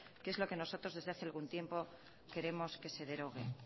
que es lo que nosotros desde hace algún tiempo queremos que se derogue